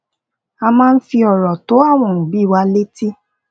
a maa n fi oro to àwọn obi wa leti